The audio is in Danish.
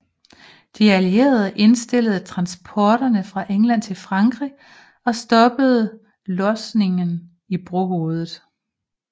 De allierede indstillede transporterne fra England til Frankrig og stoppede losningen i brohovedet